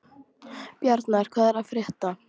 Bjarnar, hvað er að frétta?